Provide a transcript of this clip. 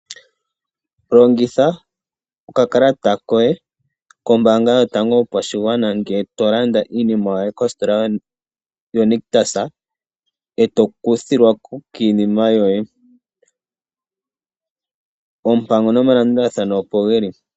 Longitha okakalata koye kombaanga yotango yopashigwana ngee tolanda iinima yoye kositola yaNICTUS ndee tokuthilwa ko kiinima yoye, oompango nomalandulathano opo geli.